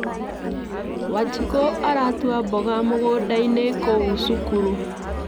Wanjikũ aratua mboga mũgũnda -inĩ kũu cukuru